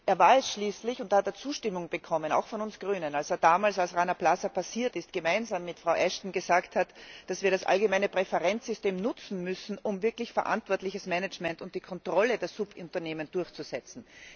Er war es schließlich und da hat er Zustimmung bekommen, auch von uns Grünen der damals, als Rana Plaza eingestürzt ist, gemeinsam mit Frau Ashton gesagt hat, dass wir das Allgemeine Präferenzsystem nutzen müssen, um wirklich verantwortliches Management und die Kontrolle der Subunternehmen durchzusetzen.